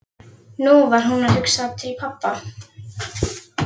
Nú var hún að hugsa til pabba.